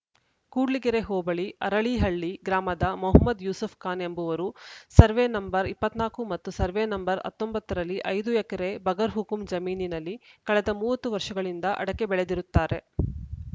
ಕೂಡ್ಲಿಗೆರೆ ಹೋಬಳಿ ಅರಳೀಹಳ್ಳಿ ಗ್ರಾಮದ ಮೊಹಮ್ಮದ್‌ ಯೂಸೂಫ್‌ ಖಾನ್‌ ಎಂಬುವರು ಸರ್ವೆ ನಂಬರ್ ಇಪ್ಪತ್ತ್ ನಾಲ್ಕು ಮತ್ತು ಸರ್ವೆ ನಂಬರ್ ಹತ್ತೊಂಬತ್ತು ರಲ್ಲಿ ಐದು ಎಕರೆ ಬಗರ್‌ಹುಕುಂ ಜಮೀನಿನಲ್ಲಿ ಕಳೆದ ಮೂವತ್ತು ವರ್ಷಗಳಿಂದ ಅಡಕೆ ಬೆಳೆದಿರುತ್ತಾರೆ